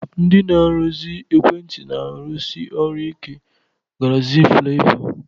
Ndị na-arụzi ekwentị na-arụsị ọrụ ike n'gárịzịn flaịọvá.